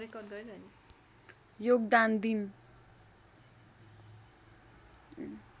योगदान दिन